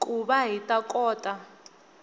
ku va hi ta kota